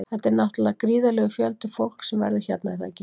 Þetta er náttúrulega gríðarlegur fjöldi fólks sem verður hérna er það ekki?